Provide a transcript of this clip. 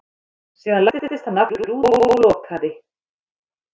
Síðan læddist hann aftur út og lokaði.